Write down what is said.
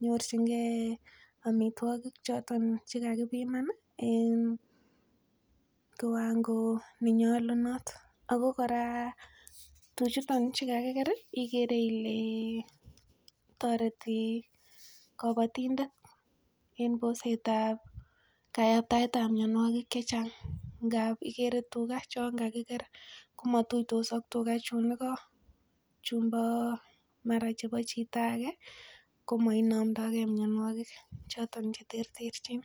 nyorchingee amitwogik choton chekakipiman ih en kiwango nenyolunot ako kora tuchuton chekakiker ih ikere ile toreti kobotindet en boset ab kayaptaet ab mionwogik chechang ngap ikere tuga chon kakiker komotuitos ak tuga chun igo chumbo mara chebo chito age komoinomdoogee mionwogik choton cheterterchin